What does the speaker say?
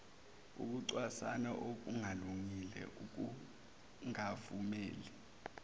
ukucwasana okungalungile ukungavumeli